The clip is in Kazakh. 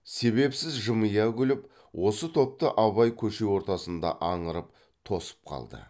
себепсіз жымия күліп осы топты абай көше ортасында аңырып тосып қалды